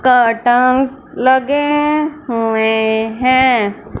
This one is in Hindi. कर्टन्स लगे हुए हैं।